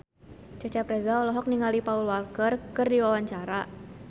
Cecep Reza olohok ningali Paul Walker keur diwawancara